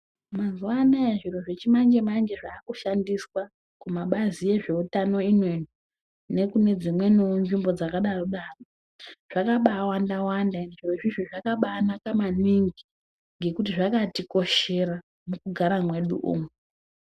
Mazuwa anaya zviro zvechimanjemanje zvaakushandiswa kumabazi ezveutano ino ino nekunedzimweniwo nzvimbo dzakadaro daro zvakabaawandawanda ende zvirozvi zvakabaanaka maningi ngekuti zvakatikoshera mukugara kwedu umwu.